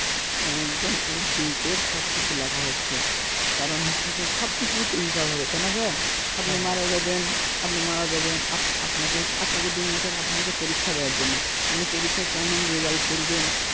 একদম a to z সবকিছু লেখা হচ্ছে কারণ হচ্ছে সবকিছুর হিসাব হবে তাই না ভাইয়া হ্যাঁ হ্যাঁ আপনি মারা যাবেন আপনি মারা যাবেন আপনাকে আপনাকে দুনিয়াতে পাঠানো হচ্ছে পরীক্ষার দেওয়ার জন্য আপনি পরীক্ষায় কেমন result করবেন